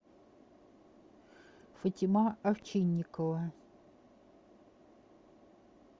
фатима овчинникова